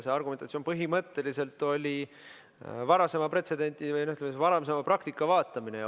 See argumentatsioon põhimõtteliselt oli varasema pretsedendi, varasema praktika vaatamine.